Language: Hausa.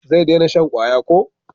Zai dena shan kwaya ko?